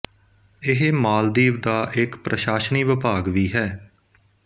ਇਹ ਮਾਲਦੀਵ ਦਾ ਇੱਕ ਪ੍ਰਸ਼ਾਸਨੀ ਵਿਭਾਗ ਵੀ ਹੈ